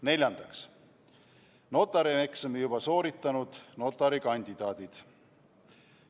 Neljandaks, notarieksami juba sooritanud notarikandidaadid.